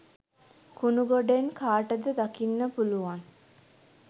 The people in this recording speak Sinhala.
කුණු ගොඩෙන් කාටද දකින්න පුළුවන්